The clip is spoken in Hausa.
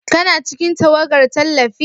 Kana cikin tawagar tallafi?